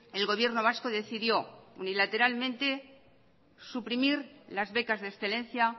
el gobierno vasco decidió unilateralmente suprimir las becas de excelencia